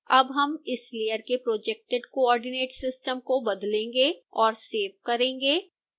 अब हम इस layer के projected coordinate system को बदलेंगे और सेव करेंगे